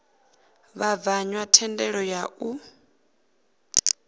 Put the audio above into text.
vhabvann ḓa thendelo ya u